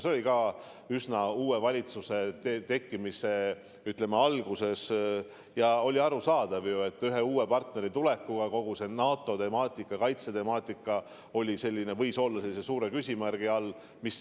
See oli ka üsna uue valitsuse tekkimise alguses, seega oli arusaadav, et ühe uue partneri tulekuga võis kogu NATO-temaatika ja kaitsetemaatika olla suure küsimärgi all.